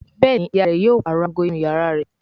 Béèni ìyá rẹ yóò parọ àgọ inú iyàrá rẹ.